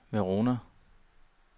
Verona